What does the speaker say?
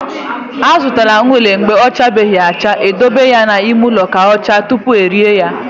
I zụta unere mgbe ọ chabeghị acha, e dobe ya n'ime ụlọ ka ọ chaa tupu e ree ya.